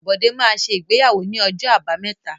Bọ́dé máa ṣe ìgbéyàwó ní ọjọ́ Àbámẹ́ta.